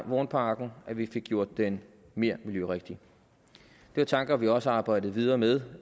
vognparken at vi fik gjort den mere miljørigtig det var tanker vi også arbejdede videre med